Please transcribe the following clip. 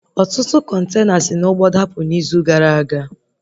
Ọtụtụ kọntena si na ụgbọ dapụ na izu gara aga